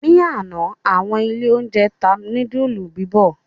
Ni àná, àwọn ilé-oúnjẹ tá núdúlù bíbọ̀.